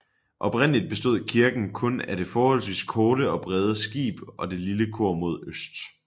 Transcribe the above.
Oprindelig bestod kirken kun af det forholdsvis korte og brede skib og det lille kor mod øst